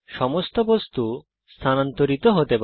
সমস্ত বস্তু স্থানান্তরিত হতে পারে